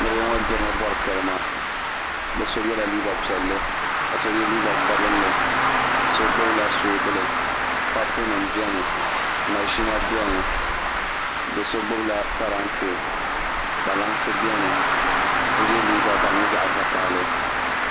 Niraba ŋo gnirimi bori salima bi so yɛla liiga piɛlli ka so yɛ liiga sabinli so gbubila soobuli papu nim biɛni maʒina biɛni so gbubila parantɛ so yɛ liiga ka di nyɛ zaɣ vakaɣali